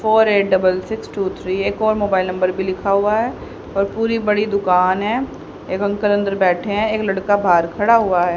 Four eight double six two three एक और mobile number भी लिखा हुआ है और पूरी बड़ी दुकान है एक अंकल अंदर बैठे हैं एक लड़का बाहर खड़ा हुआ है।